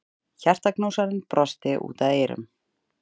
Hjartaknúsarinn brosti út að eyrum.